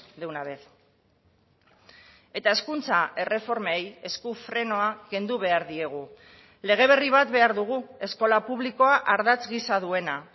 de una vez eta hezkuntza erreformei esku frenoa kendu behar diegu lege berri bat behar dugu eskola publikoa ardatz gisa duena